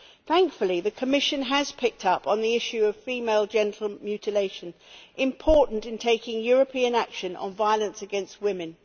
Thankfully the Commission has picked up on the issue of female genital mutilation important in taking European action on violence against women.